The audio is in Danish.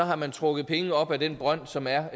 har man trukket penge op af den brønd som er